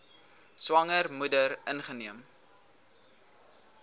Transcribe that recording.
swanger moeder ingeneem